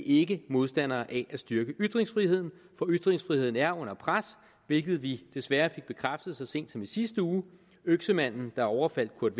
ikke modstandere af at styrke ytringsfriheden for ytringsfriheden er under pres hvilket vi desværre fik bekræftet så sent som i sidste uge øksemanden der overfaldt kurt